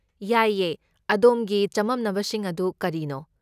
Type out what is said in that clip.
ꯌꯥꯏꯌꯦ, ꯑꯗꯣꯝꯒꯤ ꯆꯃꯝꯅꯕꯁꯤꯡ ꯑꯗꯨ ꯀꯔꯤꯅꯣ?